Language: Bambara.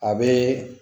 A bɛ